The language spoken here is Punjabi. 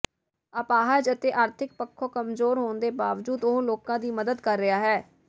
ਅਪਹਾਜ ਤੇ ਆਰਥਿਕ ਪੱਖੋ ਕਮਜ਼ੋਰ ਹੋਣ ਦੇ ਬਾਵਜੂਦ ਉਹ ਲੋਕਾਂ ਦੀ ਮਦਦ ਕਰ ਰਿਹਾ ਹੈ